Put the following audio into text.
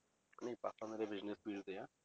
ਨਹੀਂ ਪਾਪਾ ਮੇਰੇ business field ਦੇ ਆ।